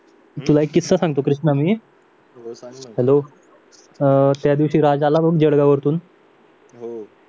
तुला एक किस्सा सांगतो कृष्णा मी हॅलो अं त्यादिवशी राजा आला बघ जळगाव वरून